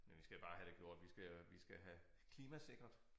Men vi skal bare have det gjort vi skal vi skal have klimasikret